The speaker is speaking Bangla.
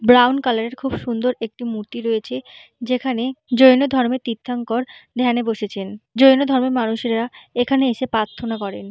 ব্রাউন কালার এর খুব সুন্দর একটি মূর্তি রয়েছে যেখানে জৈন ধর্মের তীর্থঙ্কর ধ্যান এ বসেছে জৈন ধর্মের মানুষেরা এখানে এসে প্রার্থনা করেন।